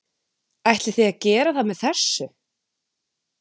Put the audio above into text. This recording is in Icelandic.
Ætlið þið að gera það með þessu?